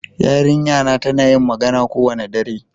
Yarinƴa na tana yin magana kowane ɗare.